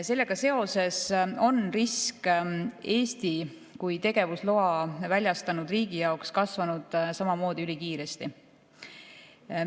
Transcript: Sellega seoses on risk Eesti kui tegevusloa väljastanud riigi jaoks kasvanud samamoodi ülikiiresti.